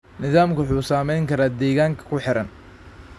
Nidaamku wuxuu saameyn karaa deegaanka ku xeeran.